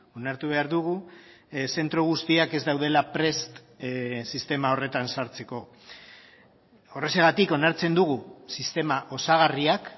onartu behar dugu zentro guztiak ez daudela prest sistema horretan sartzeko horrexegatik onartzen dugu sistema osagarriak